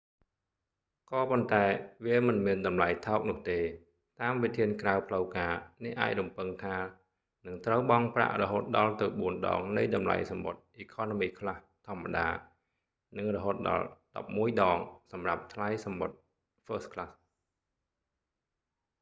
ក៏ប៉ុន្តែ វាមិនមានតម្លៃថោកនោះទេ៖ តាមវិធានក្រៅផ្លូវការ អ្នកអាចរំពឹងថានឹងត្រូវបង់ប្រាក់រហូតដល់ទៅបួនដងនៃតម្លៃសំបុត្រ economy class ធម្មតា និងរហូតដល់ដប់មួយដងសម្រាប់សម្រាប់ថ្លៃសំបុត្រ first class